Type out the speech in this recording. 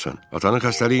Atanın xəstəliyi nədir?